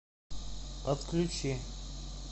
отключи